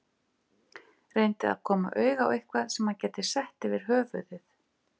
Reyndi að koma auga á eitthvað sem hann gæti sett yfir höfuðið.